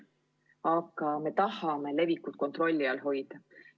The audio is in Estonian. Aga me tahame levikut kontrolli all hoida.